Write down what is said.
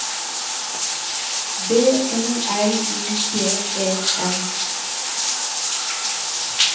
B O L I G E N